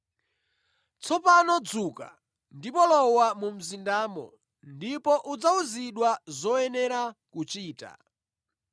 “Tsopano dzuka, lowa mu mzindamo, ndipo udzawuzidwa zoyenera kuchita.”